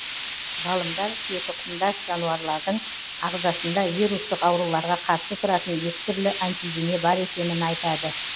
ғалымдар түйетұқымдас жануарлардың ағзасында вирустық ауруларға қарсы тұратын екі түрлі антидене бар екенін айтады